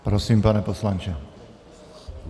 Prosím, pane poslanče.